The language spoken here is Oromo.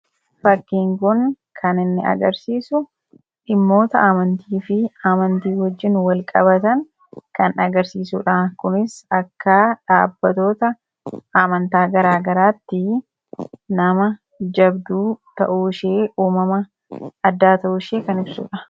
Fakkiin kun kan inni agarsiisu dhimmoota amantii fi amantii wajjiin wal-qabatan kan agarsiisuudha. kunis akka dhaabbatoota amantaa garaa garaatti nama jabduu ta'uu ishee uumama addaa ta'u ishee kan ibsuudha.